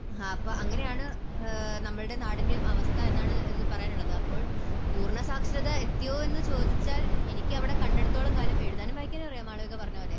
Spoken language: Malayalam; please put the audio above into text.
ങ്ഹാ അപ്പോൾ അങ്ങനെയാണ് നമ്മുടെ നാടിൻറെയും അവസ്ഥ എന്നാണ് എനിക്ക് പറയാനുള്ളത്. അപ്പോൾ പൂർണ്ണ സാക്ഷരത എത്തിയോ എന്ന് ചോദിച്ചാൽ എനിക്ക് ഇവിടെ കണ്ടിടത്തോളം കാലം, എഴുതാനും വായിക്കാനും അറിയാം ആളുകൾക്ക് പറഞ്ഞതുപോലെ